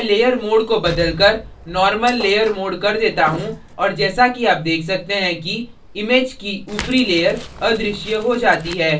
मैं layer mode को बदलकर normal layer mode कर देता हूँ और जैसा कि आप देख सकते हैं कि image की ऊपरी layer अदृश्य हो जाती है